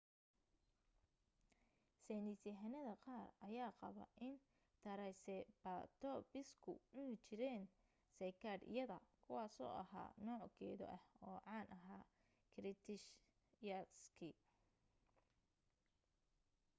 saynisyahanada qaar ayaa qaba in taraysebatoobisku cuni jireen seykaadhyada kuwaasoo ahaa nooc geedo ah oo caan ahaa kiritishiyaaskii